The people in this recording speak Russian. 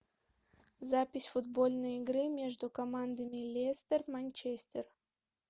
запись футбольной игры между командами лестер манчестер